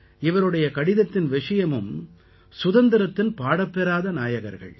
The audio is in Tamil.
இவருடைய கடிதத்தின் விஷயமும் சுதந்திரத்தின் பாடப்பெறாத நாயகர்கள்